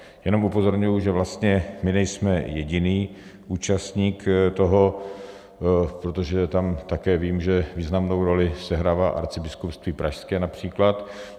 Jenom upozorňuji, že vlastně my nejsme jediný účastník toho, protože tam také vím, že významnou roli sehrává Arcibiskupství pražské například.